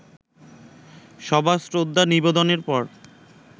সবার শ্রদ্ধা নিবেদনের পর